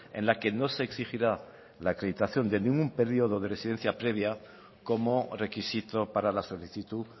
en la que no se exigirá la acreditación de ningún periodo de residencia previa como requisito para la solicitud